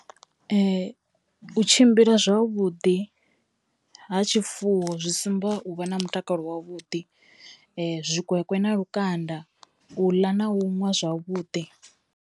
U tshimbila zwavhuḓi ha tshifuwo zwi sumba u vha na mutakalo wavhuḓi, zwikwekwe na lukanda u ḽa na u ṅwa zwavhuḓi.